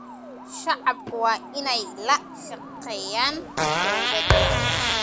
Shacabku waa inay la shaqeeyaan dawladda.